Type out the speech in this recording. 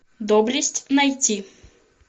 доблесть найти